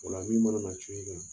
Ola min mana na cun i kan